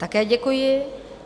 Také děkuji.